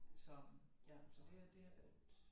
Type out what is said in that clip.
Så ja så det havde det havde været